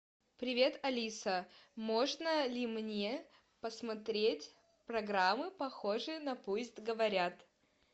привет алиса можно ли мне посмотреть программы похожие на пусть говорят